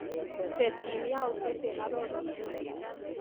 Tesyi yautyet eng arorutyenyu.